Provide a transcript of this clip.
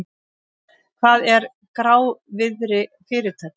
Hvað er grávirði fyrirtækja?